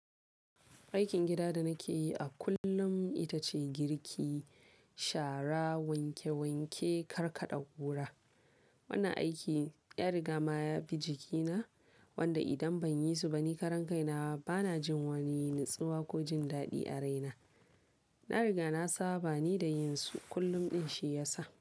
Aikin gida da nake yi a kullum ita ce girki, shara, wanke-wanke, karkaɗa ƙura. Wannan aiki ya riga ma ya bi jikina, wanda idan ban yi su ba ni karan kaina bana jin wani natsuwa ko jin daɗi a raina. Na riga na saba ne da yin su kullum ɗin shi ya sa.